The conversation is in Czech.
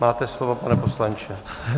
Máte slovo, pane poslanče.